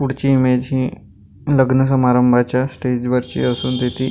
पुढची इमेज हि लग्न सम्बरंभाच्या स्टेज वरची असून तिची --